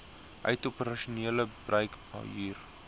uit operasionele bruikhuur